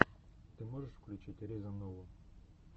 ты можешь включить риза нову